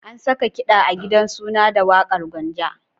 An saka kiɗa a gidan suna da waƙar Gwanja.